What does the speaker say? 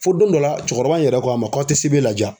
Fo don dɔ la cɔkɔrɔba in yɛrɛ ko an ma k'aw te sebe laja